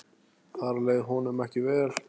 Þar leið honum ekki vel.